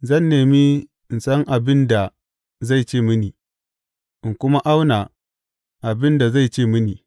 Zan nemi in san abin da zai ce mini, in kuma auna abin da zai ce mini.